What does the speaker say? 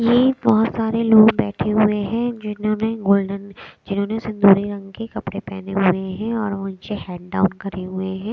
ये बहोत सारे लोग बैठे हुए हैं जिन्होंने गोल्डन जिन्होंने सिंदूरी रंग के कपड़े पहने हुए हैं और ओन हेड डाउन करे हुए हैं।